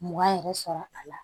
Mugan yɛrɛ sɔrɔ a la